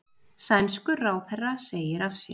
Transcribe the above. Sænskur ráðherra segir af sér